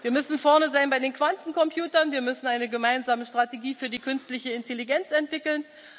Wir müssen vorne sein bei den Quantencomputern, wir müssen eine gemeinsame Strategie für die künstliche Intelligenz entwickeln.